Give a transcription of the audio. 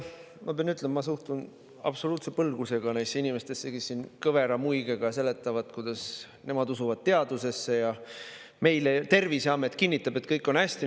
Ma pean ütlema, et ma suhtun absoluutse põlgusega neisse inimestesse, kes siin kõvera muigega seletavad, kuidas nemad usuvad teadusesse ja et Terviseamet ju kinnitab, et kõik on hästi.